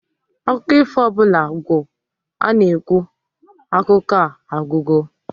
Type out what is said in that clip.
Akụkọ ifo ọbụla gwụ, a-na ekwu "Akụkọ a agwụgo"